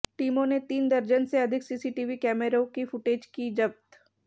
टीमों ने तीन दर्जन से अधिक सीसीटीवी कैमरों की फुटेज की जब्त